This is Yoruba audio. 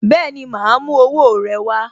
Bẹẹni, ma a mú owó rẹ wá